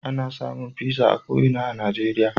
Ana samun pizza a ko ina a Najeriya.